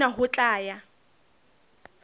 mme hona ho tla ya